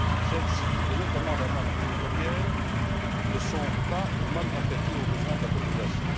Celles ci, et notamment la manne pétrolière, ne sont pas ou mal affectées aux besoins de la population.